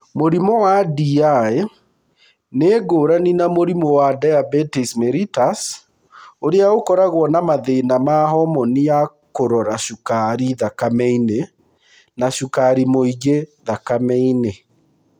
Mũrimũ wa DI nĩ ngũrani na mũrimũ wa diabetes mellitus (DM) ũrĩa ũkoragwo na mathĩna ma homoni ya kũrora cukari thakame-inĩ na cukari mũingĩ thakame-inĩ.